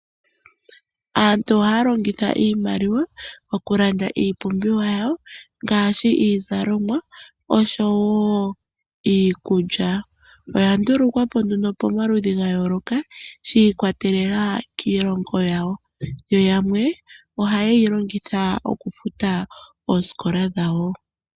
Aantu ohaya longitha iimaliwa okulanda iipumbiwa yawo ngaashi iizalomwa oshowo iikulya. Oya ndulukwapo pamaludhi ga yooloka shi ikwatelela kiilongo yawo, yo yamwe oha yeyi longitha okufuta oosikola dhawo.